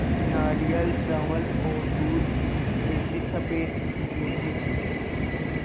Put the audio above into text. नारियल चावल और दूध जैसी स़फेद चीज़ों से